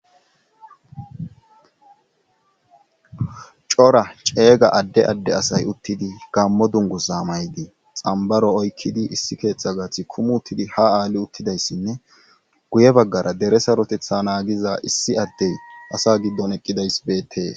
Cora ceega adde adde asay uttidi gammo dungu sa maydii xambaro oykkidi issi keeththa gaathi kumu uttidi ha aali uttidayssinne guye baggara dere sarotetha naagiza issi addey asa giddon eqqidays beetee.